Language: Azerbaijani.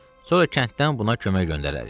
Sonra kənddən buna kömək göndərərik.